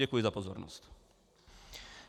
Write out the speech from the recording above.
Děkuji za pozornost.